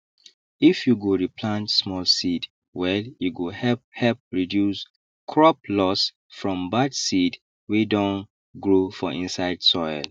if you go re plant small seed well e go help help reduce crop loss from bad seed wey don grow for inside soil